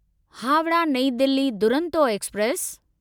Howrah New Delhi Duronto express